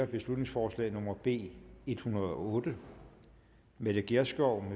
beslutningsforslag nummer b en hundrede og otte mette gjerskov